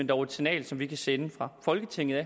dog et signal som vi kan sende fra folketinget og